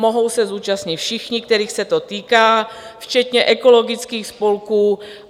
Mohou se zúčastnit všichni, kterých se to týká, včetně ekologických spolků.